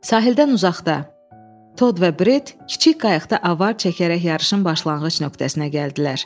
Sahildən uzaqda Tod və Bret kiçik qayıqda avar çəkərək yarışın başlanğıc nöqtəsinə gəldilər.